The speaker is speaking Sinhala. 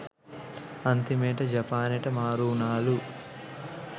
අන්තිමේට ජපානෙට මාරු උනාලු.